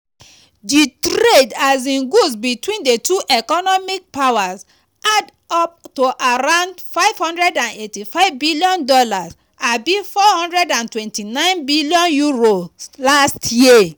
di trade in goods between di two economic powers add up to around $585bn (£429bn) last year.